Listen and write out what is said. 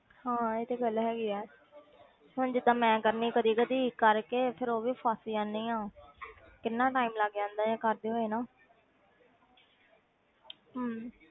ਹਾਂ ਇਹ ਤੇ ਗੱਲ ਹੈਗੀ ਹੈ ਹੁਣ ਜਿੱਦਾਂ ਮੈਂ ਕਰਨੀ ਕਦੇ ਕਦੇ ਕਰਕੇ ਫਿਰ ਉਹ ਵੀ ਫਸ ਜਾਂਦੀ ਹਾਂ ਕਿੰਨਾ time ਲੱਗ ਜਾਂਦਾ ਹੈ ਕਰਦੇ ਹੋਏ ਨਾ ਹਮ